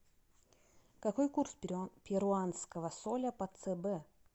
какой курс перуанского соля по цб